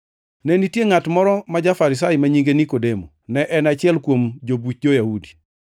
Ne nitie ngʼat moro ma ja-Farisai ma nyinge Nikodemo, ne en achiel kuom jobuch jo-Yahudi.